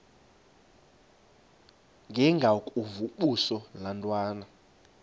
ndengakuvaubuse laa ntwana